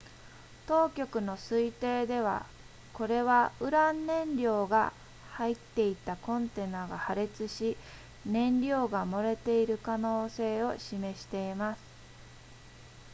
当局の推定ではこれはウラン燃料が入っていたコンテナが破裂し燃料が漏れている可能性を示しています